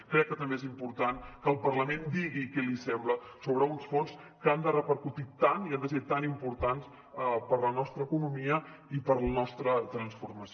crec que també és important que el parlament digui què li sembla sobre uns fons que han de repercutir tant i han de ser tan importants per a la nostra economia i per a la nostra transformació